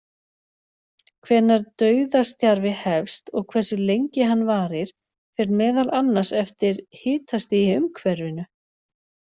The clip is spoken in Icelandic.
Hvenær dauðastjarfi hefst og hversu lengi hann varir fer meðal annars eftir hitastigi í umhverfinu.